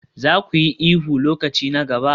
Za ku yi ihu lokaci na gaba?